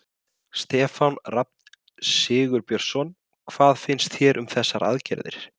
Stefán Rafn Sigurbjörnsson: Hvað finnst þér um þessar aðgerðir?